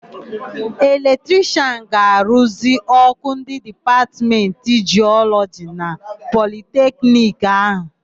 Eletrishịan ga-aruzi ọ́kụ́ ndị Dipatmentị Jịọlọji na Politekniki áhụ̀.